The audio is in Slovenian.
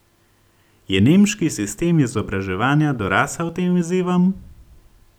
Je nemški sistem izobraževanja dorasel tem izzivom?